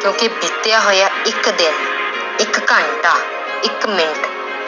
ਕਿਉਂਕਿ ਬੀਤਿਆ ਹੋਇਆ ਇੱਕ ਦਿਨ, ਇੱਕ ਘੰਟਾ, ਇੱਕ ਮਿੰਟ